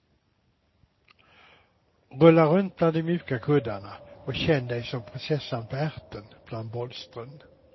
Rulla runt bland de mjuka kuddarna och känn dig som prinsessan på ärten bland bolstren.